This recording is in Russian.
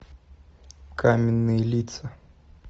каменные лица